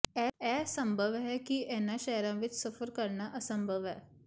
ਇਹ ਸੰਭਵ ਹੈ ਕਿ ਇਨ੍ਹਾਂ ਸ਼ਹਿਰਾਂ ਵਿੱਚ ਸਫ਼ਰ ਕਰਨਾ ਅਸੰਭਵ ਹੈ